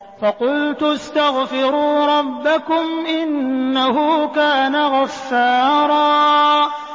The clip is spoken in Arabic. فَقُلْتُ اسْتَغْفِرُوا رَبَّكُمْ إِنَّهُ كَانَ غَفَّارًا